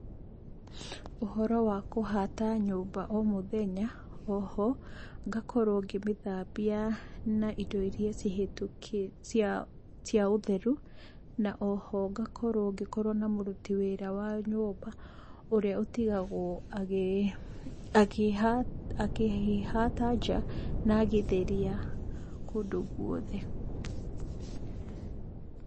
Ũhoro wa kũhata nyũmba o mũthenya, oho, ngakorwo ngĩmĩthambia na indo iria cia ũtheru, na oho ngakorwo na mũruti wa wĩra wa nyũmba ũrĩa ũtigagwo akĩhata nja na agĩtheria kũndũ guothe.